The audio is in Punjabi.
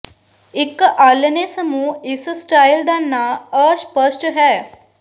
ਇੱਕ ਆਲ੍ਹਣੇ ਸਮੂਹ ਇਸ ਸਟਾਈਲ ਦਾ ਨਾਂ ਅਸਪਸ਼ਟ ਹੈ